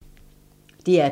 DR P2